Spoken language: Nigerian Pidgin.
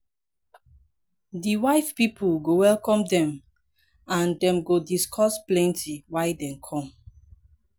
di wife pipol go welcome dem and dem go discuss plenti why dem kom